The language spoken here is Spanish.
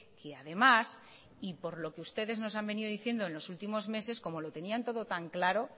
que además y por lo que ustedes nos han venido diciendo en los últimos meses como lo tenían todo tan claro